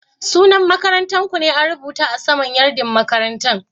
Sunan makarantan ku ne an rubuta a sama'n yardin kayan makarantan?